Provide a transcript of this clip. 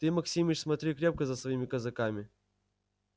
ты максимыч смотри крепко за своими казаками